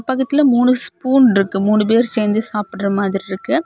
பக்கத்துல மூணு ஸ்பூன் இருக்கு மூணு பேர் சேந்து சாப்புடற மாதிரி இருக்கு.